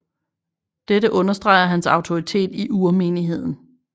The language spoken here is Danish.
Dette understreger hans autoritet i urmenigheden